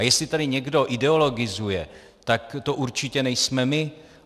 A jestli tady někdo ideologizuje, tak to určitě nejsme my.